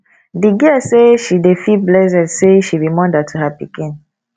di girl say she dey feel blessed sey she be moda to her pikin